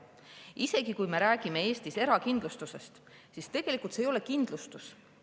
Isegi kui me räägime Eestis erakindlustusest, siis tegelikult see ei ole kindlustus.